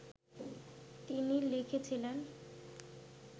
তিনি লিখেছিলেন